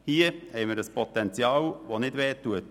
Hier haben wir ein Potenzial, das nicht wehtut.